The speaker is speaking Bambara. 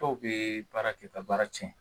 Dɔw bee baara kɛ ka baara cɛn